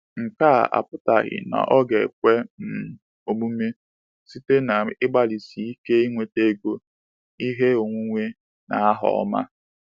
Nke a apụtaghị na ọ ga-ekwe um omume site n’ịgbalịsi ike inweta ego, ihe onwunwe, na aha ọma.